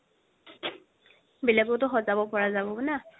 বেলেগও সজাব পাৰা যাব না